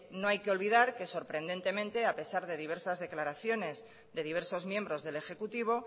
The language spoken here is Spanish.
no hay que olvidar que sorprendentemente a pesar de diversos declaraciones de diversos miembros del ejecutivo